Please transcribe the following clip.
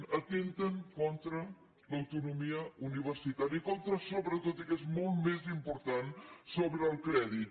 que atempten contra l’autonomia universitària i contra sobretot i que és molt més important el crèdit